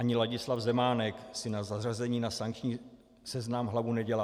Ani Ladislav Zemánek si ze zařazení na sankční seznam hlavu nedělá.